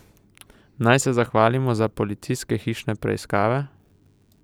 Naj se zahvalimo za policijske hišne preiskave?